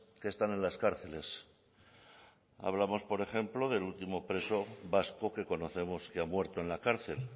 que están en las cárceles hablamos por ejemplo del último preso vasco que conocemos que ha muerto en la cárcel